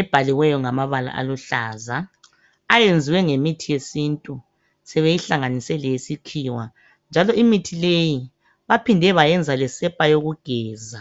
ebhaliweyo ngamabala aluhlaza .Ayenziwe ngemithi yesintu sebeyihlanganise leyesikhiwa njalo imithi leyi baphinde bayenza lesepa yokugeza.